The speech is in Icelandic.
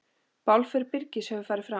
Bálför Birgis hefur farið fram.